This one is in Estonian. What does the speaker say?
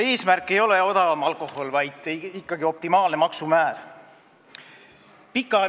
Eesmärk ei ole odavam alkohol, vaid ikkagi optimaalne maksumäär.